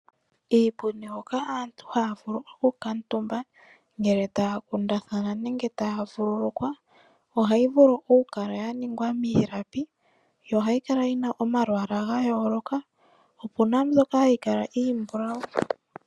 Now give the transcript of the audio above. Iipundi oko hoka aantu haa vulu okukatumba ngele taa kundathana nenge taa vululukwa ohayi vulu okukala ya ningwa miilapi yo ohayi kala yi na omalwaala ga yoloka, opu na mbyka hayi kala iimbulawu.